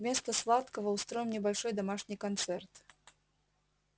вместо сладкого устроим небольшой домашний концерт